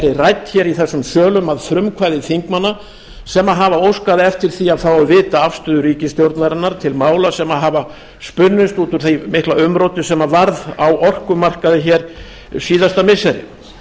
rædd hér í þessum sölum að frumkvæði þingmanna sem hafa óskað eftir því að fá að vita afstöðu ríkisstjórnarinnar til mála sem hafa spunnist út úr því mikla umróti sem varð á orkumarkaði hér síðasta missiri